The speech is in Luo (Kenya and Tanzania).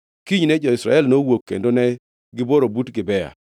Kinyne jo-Israel nowuok kendo ne gibworo but Gibea.